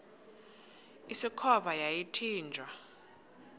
usikhova yathinjw a